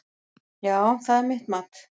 Já, það er mitt mat.